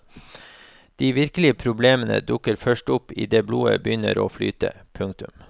De virkelige problemene dukker først opp idet blodet begynner å flyte. punktum